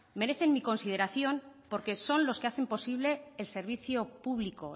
merecen mi consideración porque son los que hacen posible el servicio público